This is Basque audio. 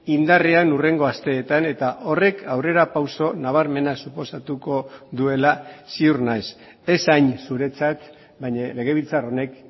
indarrean hurrengo asteetan eta horrek aurrerapauso nabarmena suposatuko duela ziur naiz ez hain zuretzat baina legebiltzar honek